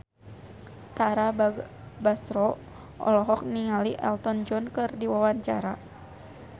Tara Basro olohok ningali Elton John keur diwawancara